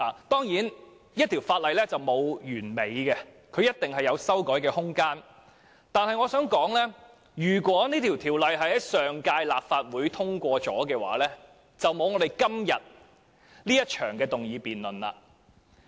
當然，沒有法例是完美的，必定會有修改的空間，但我想指出，如果《條例草案》已在上屆立法會獲得通過，便不會有今天這場議案辯論。